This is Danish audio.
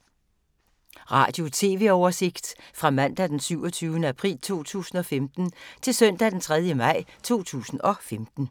Radio/TV oversigt fra mandag d. 27. april 2015 til søndag d. 3. maj 2015